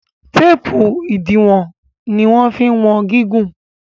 teepu idiwọn ní wan fí wọn gigun.